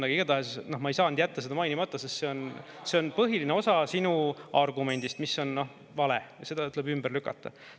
Aga igatahes ma ei saanud jätta seda mainimata, sest see on põhiline osa sinu argumendist, mis on, noh, vale ja seda tuleb ümber lükata.